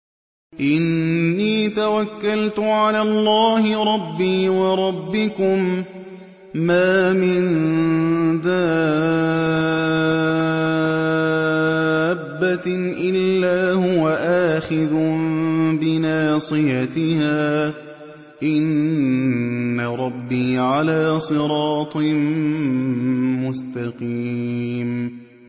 إِنِّي تَوَكَّلْتُ عَلَى اللَّهِ رَبِّي وَرَبِّكُم ۚ مَّا مِن دَابَّةٍ إِلَّا هُوَ آخِذٌ بِنَاصِيَتِهَا ۚ إِنَّ رَبِّي عَلَىٰ صِرَاطٍ مُّسْتَقِيمٍ